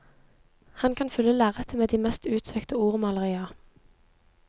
Han kan fylle lerretet med de mest utsøkte ordmalerier.